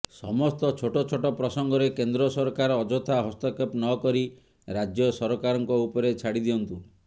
ସମସ୍ତ ଛୋଟ ଛୋଟ ପ୍ରସଙ୍ଗରେ କେନ୍ଦ୍ର ସରକାର ଅଯଥା ହସ୍ତକ୍ଷେପ ନକରି ରାଜ୍ୟ ସରକାରଙ୍କ ଉପରେ ଛାଡି ଦିଅନ୍ତୁ